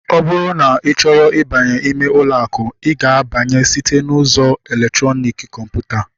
Ọ bụrụ na ị chọrọ ịbanye ime ụlọ akụ, I ga-abanye site n'ụzọ elektrọnik kọmputa